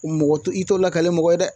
Mɔgɔ tɛ i tɔ lakalen mɔgɔ ye dɛ